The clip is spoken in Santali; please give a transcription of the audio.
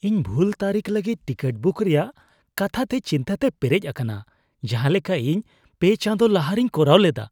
ᱤᱧ ᱵᱷᱩᱞ ᱛᱟᱹᱨᱤᱠᱷ ᱞᱟᱹᱜᱤᱫ ᱴᱤᱠᱤᱴ ᱵᱩᱠ ᱨᱮᱭᱟᱜ ᱠᱟᱛᱷᱟᱛᱮ ᱪᱤᱱᱛᱟᱹ ᱛᱮ ᱯᱮᱨᱮᱡ ᱟᱠᱟᱱᱟ ᱡᱟᱦᱟᱸᱞᱮᱠᱟ ᱤᱧ ᱓ ᱪᱟᱸᱫᱚ ᱞᱟᱦᱟ ᱨᱮᱧ ᱠᱚᱨᱟᱣ ᱞᱮᱫᱟ ᱾